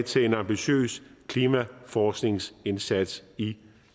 til en ambitiøs klimaforskningsindsats i